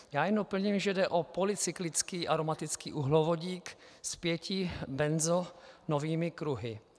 Já jen doplním, že jde o polycyklický aromatický uhlovodík s pěti benzonovými kruhy.